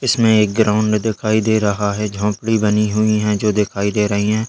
इसमें एक ग्राउंड दिखाई दे रहा है झोपड़ी बनी हुई है जो दिखाई दे रही है।